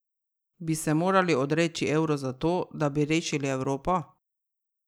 Bi se morali odreči evru zato, da bi rešili Evropo?